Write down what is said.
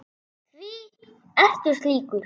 Hví ertu slíkur?